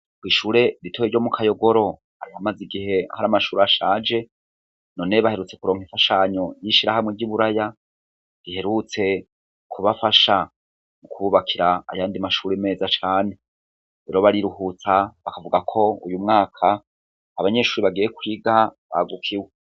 Kw'ishure ritoya ryo mu Kayogoro hari hamaze igihe hari amashuri ashaje none we baherutse kuronka imfashanyo y'ishirahamwe ry'i Buraya, riherutse kubafasha mu kububakira ayandi mashuri meza cane. Rero bariruhutsa bakavuga ko uyu mwaka abanyeshuri bagiye kwiga bagukiwe.